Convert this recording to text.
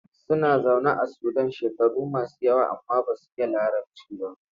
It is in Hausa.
Suna zaune a Sudan shekaru masu yawa amma ba su iya Larabci ba.